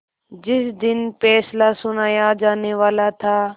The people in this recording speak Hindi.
जिस दिन फैसला सुनाया जानेवाला था